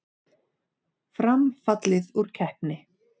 Fram fallið úr keppni